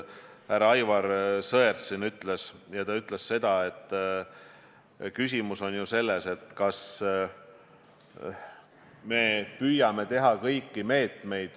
Härra Aivar Sõerd vist oli see, kes ütles, et küsimus on selles, kas me püüame rakendada kõiki võimalikke meetmeid.